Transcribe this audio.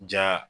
Ja